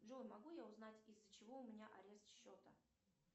джой могу я узнать из за чего у меня арест счета